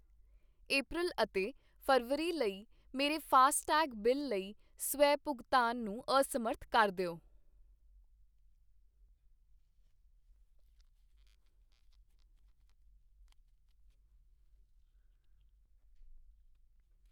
ਅਪ੍ਰੈਲ ਅਤੇ ਫ਼ਰਵਰੀ ਲਈ ਮੇਰੇ ਫਾਸਟੈਗ ਬਿੱਲ ਲਈ ਸਵੈ ਭੁਗਤਾਨ ਨੂੰ ਅਸਮਰੱਥ ਕਰ ਦਿਓ।